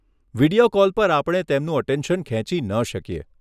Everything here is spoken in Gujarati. વિડીયો કૉલ પર આપણે તેમનું અટેન્શન ખેંચી ન શકીએ.